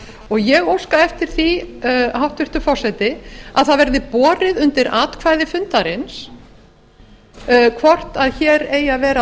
og ég óska eftir því hæstvirtur forseti að það verði borið undir atkvæði fundarins hvort hér eigi að vera